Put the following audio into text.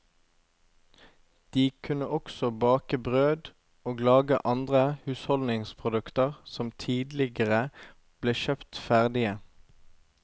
De kunne også bake brød og lage andre husholdningsprodukter som tidligere ble kjøpt ferdige.